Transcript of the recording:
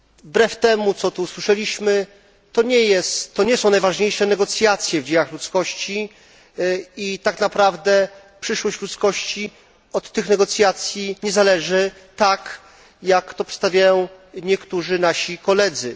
Wbrew temu, co tu usłyszeliśmy, to nie są najważniejsze negocjacje w dziejach ludzkości i tak naprawdę przyszłość ludzkości od tych negocjacji nie zależy tak, jak to przedstawiają niektórzy nasi koledzy.